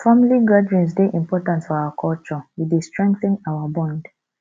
family gatherings dey important for our culture e dey strengthen our bond